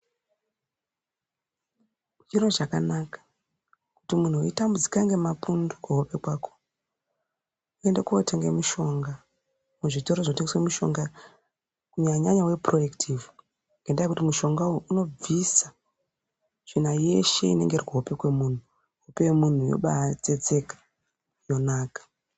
Zviro zvakanaka kuti muntu weitambudzika ngemapundu kuhope kwako enda unotenga mushonga kuzvitoro zvotengasa mushonga kunyanya nyanya wepuro ekitivhi, ngendaya yekuti mushonga uyu unobvisa tsvina yeshe inenge irikuhope kwemuntu ,hope yemuntu yotsetseka yombanaka.